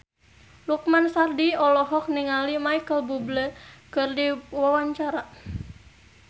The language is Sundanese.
Lukman Sardi olohok ningali Micheal Bubble keur diwawancara